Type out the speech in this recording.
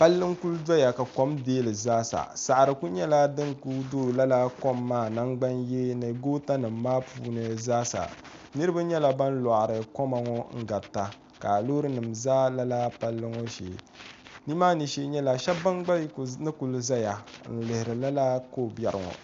palli n-kuli dɔya ka kom deei li zaasa saɣiri ku nyɛla din ku do lala kom maa nangbanyee ni gootanima maa puuni zaasa niriba nyɛla ban lɔɣiri koma ŋɔ n-garita ka loorinima za lala palli ŋɔ shee ni maani shee nyɛla shɛba ban gba ni kuli zaya n-lihirila lala ko' biɛɣu ŋɔ